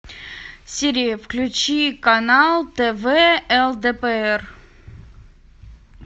сири включи канал тв лдпр